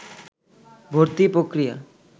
ভর্তি পক্রিয়া